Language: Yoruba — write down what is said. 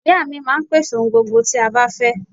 Ìya mi máa n pèsè ohun gbogbo tí a bá fẹ́